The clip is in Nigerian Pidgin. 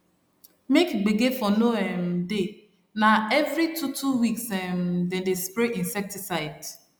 make gbege for no um dey na every two two weeks um dem dey spray insecticide